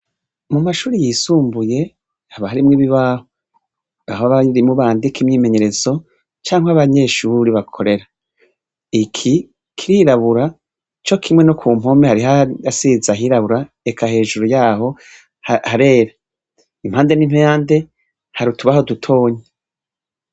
Mu mashure yisumbuye haba harimwo ibibaho. Aho abarimu bandika imyimenyerezo canke abanyeshure bakorera. Iki kirabura co kimwe no ku mpome hariho ahasize ahirabura eka hejuru yaho harera. Impande n'impande hari utubara dutoya.